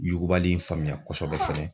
Yugubali in faamuya kosɛbɛ fɔlɔ.